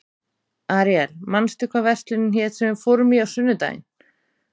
Aríel, manstu hvað verslunin hét sem við fórum í á sunnudaginn?